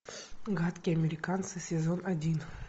гадкие американцы сезон один